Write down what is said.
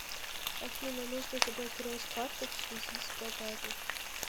афина нужно заблокировать карту в связи с пропажей